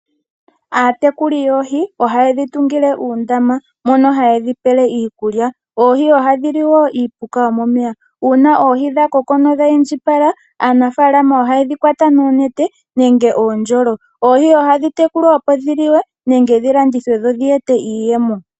Aatekuli yoohi ohaye dhi tungile uundama mono haye dhi pele iikulya. Ooohi ohadhi li wo iipuka yomomeya. Uuna oohi dha koko nodha indjipala, aanafalama ohaye dhi kwata noonete nege uundjolo. Oohi ohadhi tekulwa, opo dhi liwe nenge dhi landithwe, opo dhi ete iiyemo.